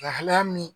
Lahalaya min